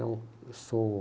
Não, eu sou...